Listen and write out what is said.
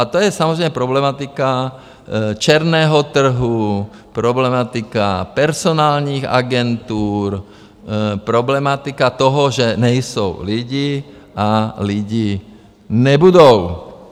A to je samozřejmě problematika černého trhu, problematika personálních agentur, problematika toho, že nejsou lidi a lidi nebudou.